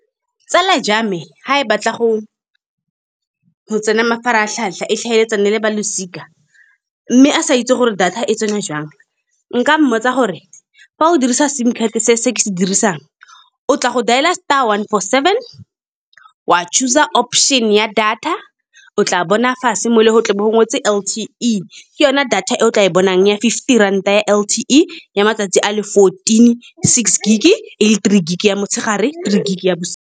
Tsala ja me ga e batla go tsena mafaratlhatlha e tlhaeletsana le balosika mme a sa itse gore data e tsenywa jang. Nka mmotsa gore fa o dirisa S_I_M card se se ke se dirisang, o tla go dailer star one four seven, wa choose-a option ya data. O tla bona fa se mo le go ngwetswe L_T_E e ke yone data e o tla e bonang ya fifty ranta, ya L_T_E ya matsatsi a le fourteen, six gig e le three gig ya motshegare, three gig ya bosigo.